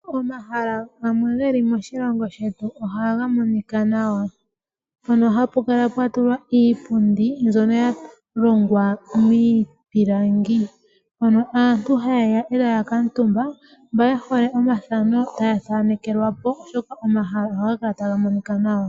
Omahala gamwe moshilongo ohaga monika nawa. Mono hapu kala pwa tulwa iipundi yalongwa miipilangi. Aakwashigwana ohaya talele po omahala ngaka e taya kutha omathano noongodhi dhawo dho peke, oshoka ohapu kala uungala wo tawu monika nawa